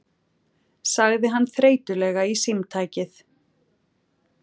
sagði hann þreytulega í símtækið.